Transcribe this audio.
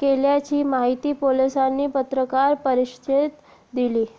केल्याची माहिती पोलिसांनी पत्रकार परिषदेत दिली